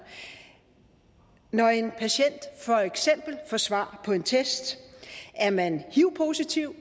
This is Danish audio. når en patient for eksempel får svar på en test er man hiv positiv